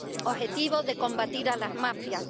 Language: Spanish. objetivo de combatir a las mafias.